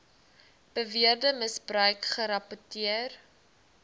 beweerde misbruik gerapporteer